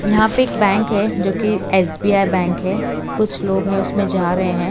यहां पे एक बैंक है जो कि एस_बी_आई बैंक है कुछ लोग हैं उसमें जा रहे हैं।